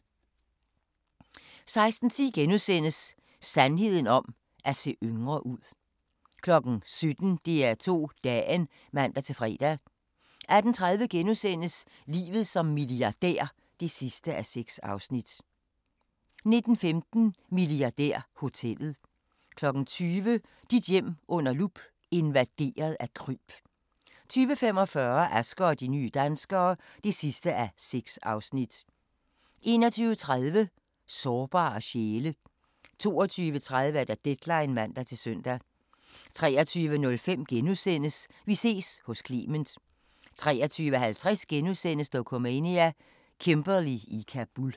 16:10: Sandheden om at se yngre ud * 17:00: DR2 Dagen (man-fre) 18:30: Livet som milliardær (6:6)* 19:15: Milliardærhotellet 20:00: Dit hjem under lup – invaderet af kryb 20:45: Asger og de nye danskere (6:6) 21:30: Sårbare sjæle 22:30: Deadline (man-søn) 23:05: Vi ses hos Clement * 23:50: Dokumania: Kimberley i Kabul *